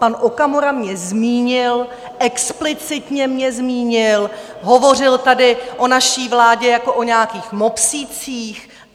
Pan Okamura mě zmínil, explicitně mě zmínil, hovořil tady o naší vládě jako o nějakých mopslících.